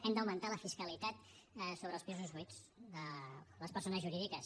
hem d’augmentar la fiscalitat sobre els pisos buits de les persones jurídiques